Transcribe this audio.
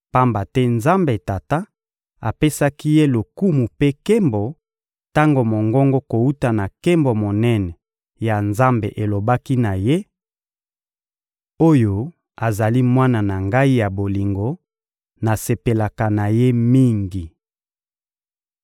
Pamba te Nzambe Tata apesaki Ye lokumu mpe nkembo, tango mongongo kowuta na nkembo monene ya Nzambe elobaki na Ye: «Oyo azali Mwana na Ngai ya bolingo, nasepelaka na Ye mingi.»